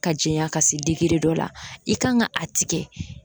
Ka jɛɲa ka se degere dɔ la i kan ka a tigɛ